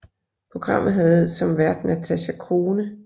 Programmet havde som vært Natasja Crone